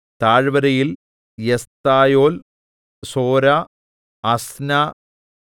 താഴ്‌വരയിൽ Eshtaol Zorah Ashnah